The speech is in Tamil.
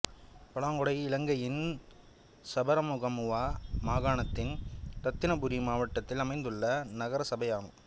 பலாங்கொடை இலங்கையின் சபரகமுவா மாகாணத்தின் இரத்தினபுரி மாவட்டத்தில் அமைந்துள்ள நகரசபை ஆகும்